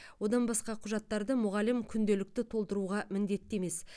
одан басқа құжаттарды мұғалім күнделікті толтыруға міндетті емес